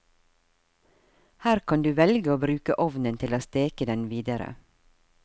Her kan du velge å bruke ovnen til å steke den videre.